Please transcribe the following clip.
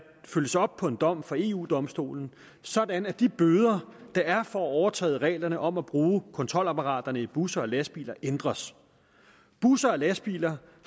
følges op på en dom fra eu domstolen sådan at de bøder der er for at overtræde reglerne om brugen af kontrolapparaterne i busser og lastbiler ændres busser og lastbiler